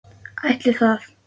Ætli það?